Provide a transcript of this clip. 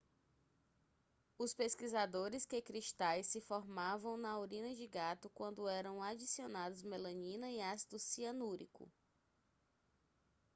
os pesquisadores que cristais se formavam na urina de gato quando eram adicionados melanina e ácido cianúrico